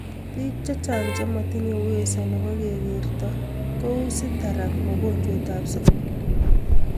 Biik chechang chematinyee uwezo neboo kekertoo kouu ctaract mojonjwet ak sukaruk